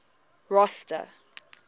rosta